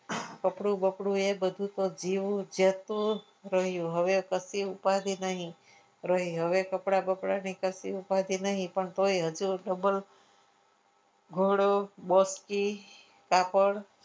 કપડું બપડું તો જેવું જ હતું રહ્યું હવે કસી ઉપાધિ નહીં રહે કપડા બપડા ની કસી ઉપાદી નહીં તોય હજુ ઘોડો બસ કી કાપડ